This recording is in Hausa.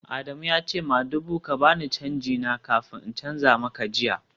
Adamu ya ce madugu ka ba ni canji na kafin in canza maka jiya